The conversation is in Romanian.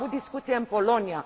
Am avut discuție în Polonia.